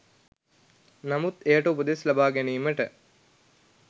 නමුත් එයට උපදෙස් ලබා ගැනීමට